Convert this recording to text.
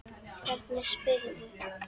Hvernig spyrðu.